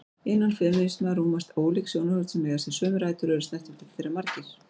Innan femínisma rúmast ólík sjónarhorn sem eiga sér sömu rætur og eru snertifletir þeirra margir.